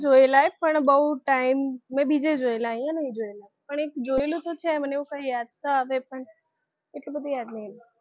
જોયેલા પણ બહુ time મે બીજે જોયેલા અહીંયા નહિ જોયેલા, પણ એક જોયેલું તો છે મને કંઈ એવું યાદ તો આવે પણ એટલું બધું યાદ નહીં